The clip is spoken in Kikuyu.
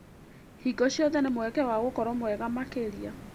Hingo ciothe nĩ mweke wa gũkorwo mwega makĩria.